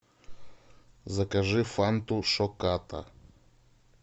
закажи фанту шоката